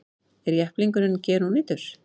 Er jepplingurinn gerónýtur